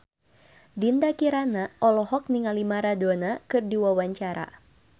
Dinda Kirana olohok ningali Maradona keur diwawancara